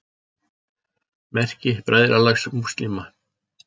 Merki Bræðralags múslíma.